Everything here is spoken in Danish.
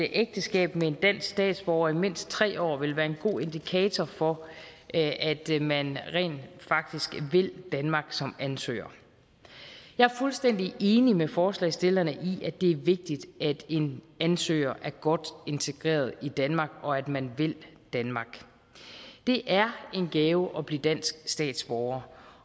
ægteskab med en dansk statsborger i mindst tre år vil være en god indikator for at man rent faktisk vil danmark som ansøger jeg er fuldstændig enig med forslagsstillerne i at det er vigtigt at en ansøger er godt integreret i danmark og at man vil danmark det er en gave at blive dansk statsborger